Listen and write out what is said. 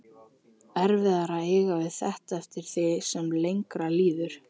Erfiðara að eiga við þetta eftir því sem lengra líður.